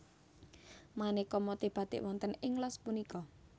Manéka motif batik wonten ing los punika